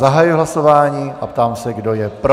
Zahajuji hlasování a ptám se, kdo je pro.